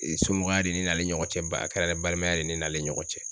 somɔgɔya de n'ale ɲɔgɔn cɛ ba a kɛra balimaya de ne n'ale ni ɲɔgɔn cɛ.